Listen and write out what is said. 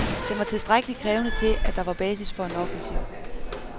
Den var tilstrækkelig krævende til, at der var basis for en offensiv.